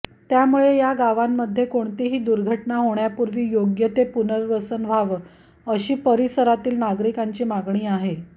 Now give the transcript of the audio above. त्यामुळे या गावांमध्ये कोणतीही दुर्घटना होण्यापूर्वी योग्य ते पुनर्वसन व्हावं अशी परिसरातील नागरिकांची मागणी आहे